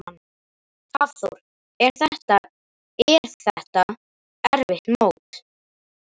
Hafþór: Er þetta, er þetta erfitt mót?